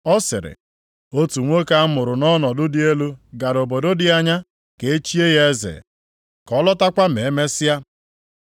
Ọ sịrị, “Otu nwoke a mụrụ nʼọnọdụ dị elu gara obodo dị anya ka echie ya eze, ka ọ lọtakwa ma e mesịa.